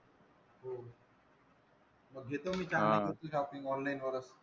मग घेतो मी चांगली shopping online वरच.